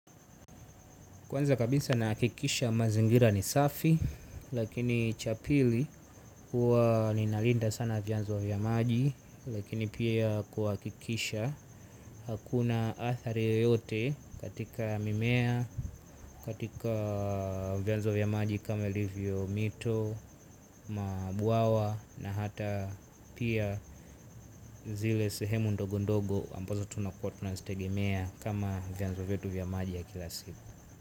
Kwanza kabisa nahakikisha mazingira ni safi lakini cha pili huwa ninalinda sana vyanzo vya maji lakini pia kuhakikisha hakuna athari yote katika mimea, katika vyanzo vya maji kama ilivyo mito, mabwawa na hata pia zile sehemu ndogo dogo ambazo tunakua tunaziegemea kama vyanzo vyetu vya maji ya kila siku.